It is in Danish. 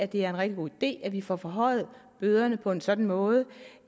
det er en rigtig god idé at vi får forhøjet bøderne på en sådan måde